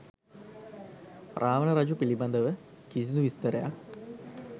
රාවණ රජු පිළිබඳව කිසිදු විස්තරයක්